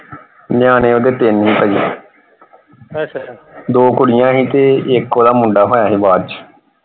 ਨਿਆਣੇ ਓਹਦੇ ਤਿੰਨ ਸੀ ਪਾਜੀ ਦੋ ਕੁੜੀਆਂ ਸੀ ਤੇ ਇਕ ਓਹਦਾ ਮੁੰਡਾ ਹੋਇਆ ਸੀ ਬਾਅਦ ਚ।